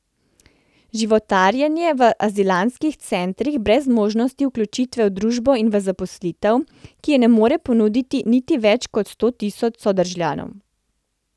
Životarjenje v azilantskih centrih brez možnosti vključitve v družbo in v zaposlitev, ki je ne more ponuditi niti več kot sto tisoč sodržavljanom...